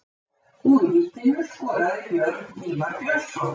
Úr vítinu skoraði Björn Ívar Björnsson.